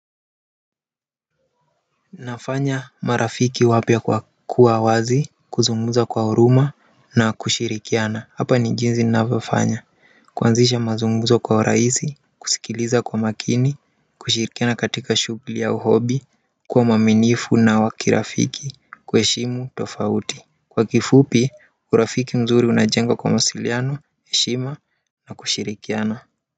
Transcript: Nafanya marafiki wapya kwa kuwa wazi kuzungumza kwa huruma na kushirikiana hapa ni jinsi ninavyofanya kuanzisha mazungumzo kwa urahisi kusikiliza kwa makini kushirikiana katika shugli au hobi, kuwa muaminifu na wakirafiki, kuheshimu tofauti kwa kifupi urafiki mzuri unajengwa kwa mawasiliano heshima na kushirikiana.